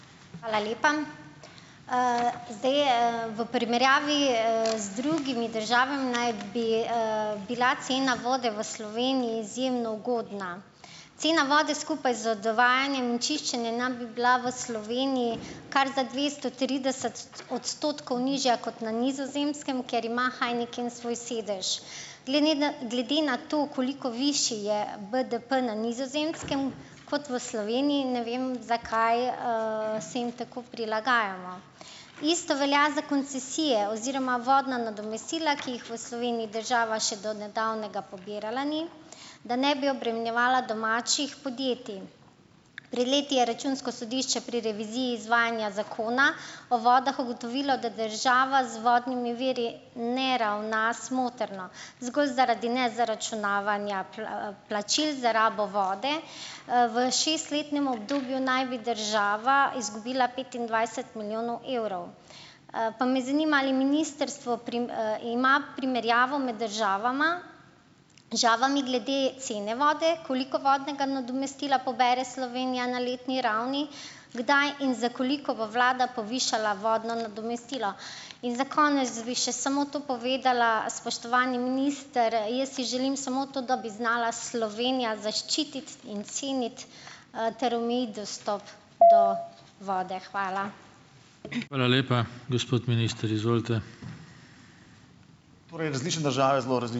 Hvala lepa. Zdaj, v primerjavi, z drugimi državami naj bi, bila cena vode v Sloveniji izjemno ugodna. Cena vode skupaj z dovajanjem in čiščenjem naj bi bila v Sloveniji kar za dvesto trideset odstotkov nižja kot na Nizozemskem, kjer ima Heineken svoj sedež. Glede da glede na to, koliko višji je BDP na Nizozemskem kot v Sloveniji, ne vem, zakaj, se jim tako prilagajamo. Isto velja za koncesije oziroma vodna nadomestila, ki jih v Sloveniji država še do nedavnega pobirala ni, da ne bi obremenjevala domačih podjetij. Pred leti je Računsko sodišče pri reviziji izvajanja Zakona o vodah ugotovilo, da država z vodnimi viri ne ravna smotrno, zgolj zaradi nezaračunavanja plačil za rabo vode. V šestletnem obdobju naj bi država izgubila petindvajset milijonov evrov. Pa me zanima, ali ministrstvo ima primerjavo med državama državami glede cene vode. Koliko vodnega nadomestila pobere Slovenija na letni ravni? Kdaj in za koliko bo vlada povišala vodno nadomestilo? In za konec bi še samo to povedala, spoštovani minister, jaz si želim samo to, da bi znala Slovenija zaščititi in ceniti, ter omejiti dostop do vode. Hvala.